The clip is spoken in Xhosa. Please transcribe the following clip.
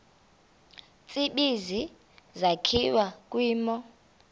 tsibizi sakhiwa kwimo